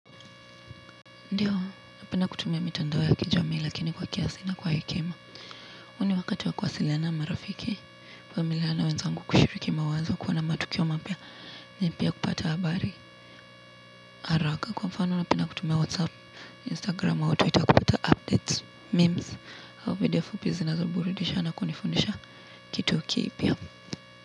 Ndio, napenda kutumia mitandao ya kijamii lakini kwa kiasi na kwa hekima. Huu ni wakati wa kuwasiliana marafiki, familia na wenzangu kushiriki mawazo kuwa na matukio mapya, ni pia kupata habari, haraka. Kwa mfano, napenda kutumia whatsapp, instagram, au twitter, kupata updates, memes, au video fupi zinazoburudisha na kunifundisha kitu kipya.